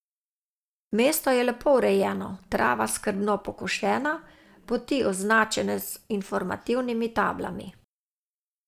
Mesto je lepo urejeno, trava skrbno pokošena, poti označene z informativnimi tablami.